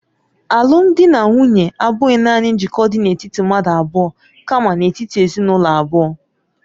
Alụmdi na nwunye abụghị nanị njikọ dị n'etiti mmadụ abụọ kamakwa n'etiti ezinụlọ abụọ.